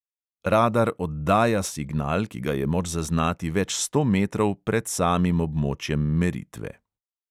Radar oddaja signal, ki ga je moč zaznati več sto metrov pred samim območjem meritve.